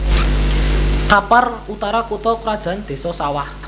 Kampar Utara kutha krajan Désa Sawah